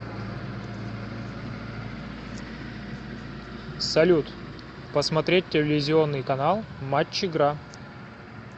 салют посмотреть телевизионный канал матч игра